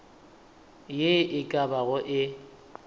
ye e ka bago e